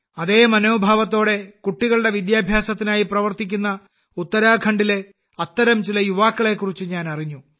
അതേ മനോഭാവത്തോടെ കുട്ടികളുടെ വിദ്യാഭ്യാസത്തിനായി പ്രവർത്തിക്കുന്ന ഉത്തരാഖണ്ഡിലെ അത്തരം ചില യുവാക്കളെക്കുറിച്ച് ഞാനറിഞ്ഞു